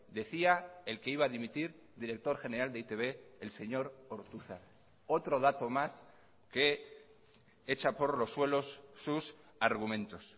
decía el que iba a dimitir director general de e i te be el señor ortuzar otro dato más que echa por los suelos sus argumentos